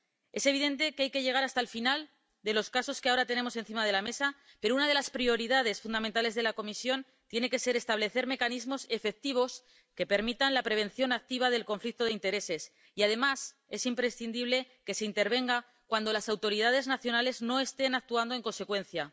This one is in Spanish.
Es evidente que hay que llegar hasta el final de los casos que ahora tenemos encima de la mesa, pero una de las prioridades fundamentales de la Comisión tiene que ser establecer mecanismos efectivos que permitan la prevención activa del conflicto de intereses y, además, es imprescindible que se intervenga cuando las autoridades nacionales no estén actuando en consecuencia.